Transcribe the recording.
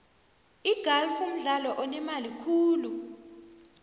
igalfu mdlalo onemali khulu